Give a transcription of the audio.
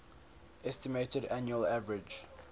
estimated annual average